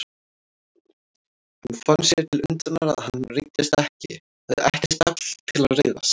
Hann fann sér til undrunar að hann reiddist ekki, hafði ekkert afl til að reiðast.